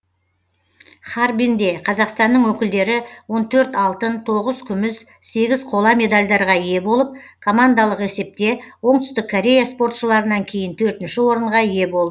харбинде қазақстанның өкілдері он төрт алтын тоғыз күміс сегіз қола медальдарға ие болып командалық есепте оңтүстік корея спортшыларынан кейін төртінші орынға ие болды